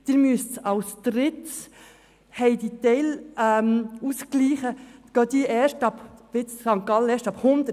Die Teilausgleiche finden auch erst ab 100 Prozent statt.